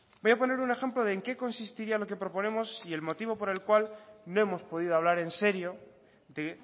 voy a poner un ejemplo de en qué consistiría lo que proponemos y el motivo por el cual no hemos podido hablar en serio de